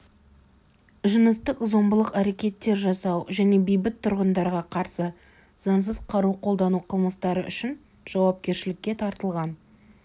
жыныстық зомбылық әрекеттер жасау және бейбіт тұрғындарға қарсы заңсыз қару қолдану қылмыстары үшін жауапкершілікке тартылған